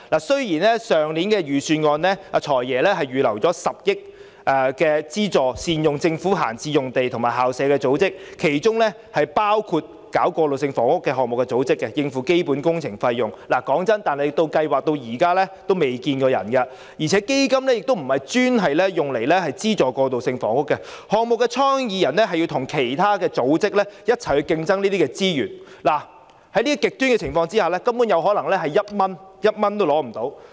雖然"財爺"去年已在財政預算案預留10億元，資助善用政府閒置用地或校舍的組織，其中包括籌辦過渡性房屋項目的組織，以應付基本工程費用，但計劃至今仍未見蹤影；而且基金亦不是專門用作資助興建過渡性房屋，項目的倡議人要跟其他組織一起競爭這些資源，在極端情況下，可能一點資助也取不到。